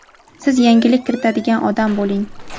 siz yangilik kiritadigan odam bo‘ling.